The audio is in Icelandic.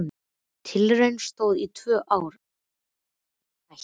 Tilraunin stóð í tvö ár en þá var henni hætt.